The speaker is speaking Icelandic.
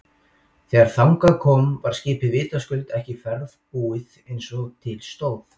Þegar þangað kom var skipið vitaskuld ekki ferðbúið eins og til stóð.